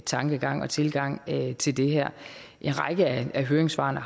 tankegang og tilgang til det her en række af høringssvarene